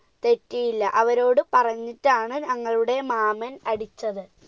തെറ്റിയില്ല, അവരോട് പറഞ്ഞിട്ടാണ് ഞങ്ങളുടെ മാമൻ അടിച്ചത്.